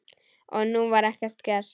Og nú var ekkert gert.